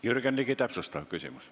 Jürgen Ligi, täpsustav küsimus.